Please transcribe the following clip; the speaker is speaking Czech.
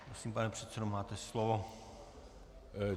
Prosím, pane předsedo, máte slovo.